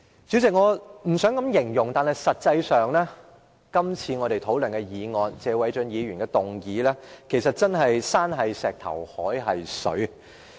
主席，我不想這樣形容，但實際上，我們討論的謝偉俊議員的議案真是"山是石頭，海是水"。